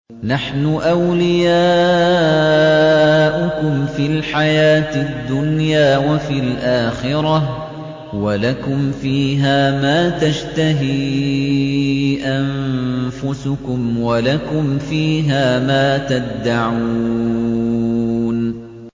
نَحْنُ أَوْلِيَاؤُكُمْ فِي الْحَيَاةِ الدُّنْيَا وَفِي الْآخِرَةِ ۖ وَلَكُمْ فِيهَا مَا تَشْتَهِي أَنفُسُكُمْ وَلَكُمْ فِيهَا مَا تَدَّعُونَ